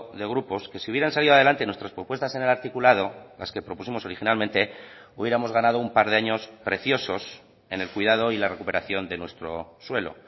de grupos que si hubieran salido adelante nuestras propuestas en el articulado las que propusimos originalmente hubiéramos ganado un par de años preciosos en el cuidado y la recuperación de nuestro suelo